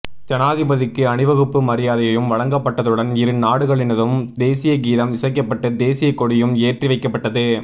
ஜனாதிபதிக்கு அணிவகுப்பு மரியாதையும் வழங்கப்பட்டதுடன் இரு நாடுகளினதும் தேசிய கீதம் இசைக்கப்பட்டு தேசிய கொடியும் ஏற்றிவைக்கப்பட்டது